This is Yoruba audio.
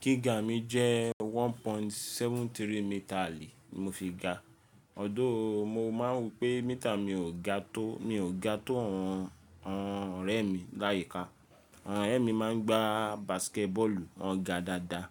Gíga mi jẹ́ one point seven three metaali ni mo fi ga. Although, mo máa ń wo pe mítà mi ò ga tó, mi ò ga tó àwọn ọ̀rẹ́ mi láyìíká. Àwọn ọ̀rẹ́ mi máa ń gbá basket ball, wọ́n ga dáadáa.